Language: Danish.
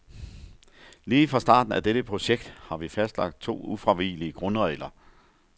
Lige fra starten af dette projekt har vi fastlagt to ufravigelige grundregler.